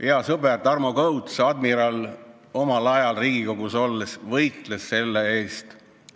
Hea sõber admiral Tarmo Kõuts omal ajal Riigikogus olles võitles selle eest.